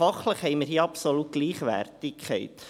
Fachlich haben wir hier also absolut Gleichwertigkeit.